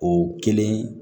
O kelen